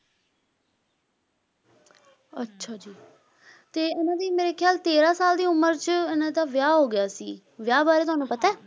ਅੱਛਾ ਜੀ, ਤੇ ਇਹਨਾਂ ਦੀ ਮੇਰੇ ਖਿਆਲ ਤੇਰ੍ਹਾਂ ਸਾਲ ਦੀ ਉਮਰ ਚ ਇਹਨਾਂ ਦਾ ਵਿਆਹ ਹੋਗਿਆ ਸੀ, ਵਿਆਹ ਬਾਰੇ ਤੁਹਾਨੂੰ ਪਤਾ?